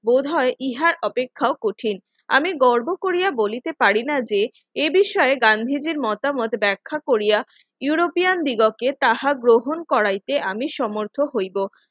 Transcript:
বোধহয় ইহার অপেক্ষা কঠিন আমি গর্ব করিয়া বলিতে পারি না যে এ বিষয়ে গান্ধীজীর মতামত ব্যাখ্যা করিয়া ইউরোপিয়ান দিবসে তাহা গ্রহণ করাইতে আমি সমর্থ হইব